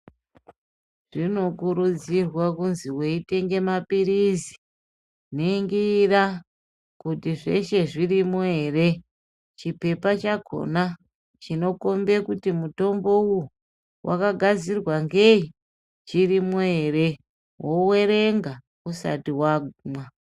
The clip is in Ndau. Zvinokurudzirwa kuzi weitenge maphirizi, ningira kuti zveshe zvirimo here, chipepa chakona chinokombe kuti mutombo uwu wakagadzirwa ngei, chirimwo ere. Wowerenga usati wakumwa.